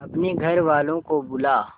अपने घर वालों को बुला